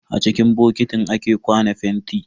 A ciki bokitin ake kwana fenti.